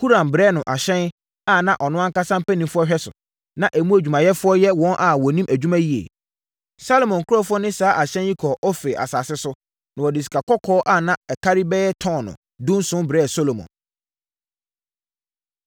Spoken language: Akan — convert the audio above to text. Huram brɛɛ no ahyɛn a ɔno ankasa mpanimfoɔ hwɛ so, na emu adwumayɛfoɔ yɛ wɔn a wɔnim adwuma yie. Salomo nkurɔfoɔ ne saa ahyɛn yi kɔɔ Ofir asase so, na wɔde sikakɔkɔɔ a na ɛkari bɛyɛ tɔno 17 brɛɛ Salomo.